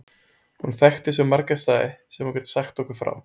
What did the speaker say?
Hún þekkti svo marga staði sem hún gat sagt okkur frá.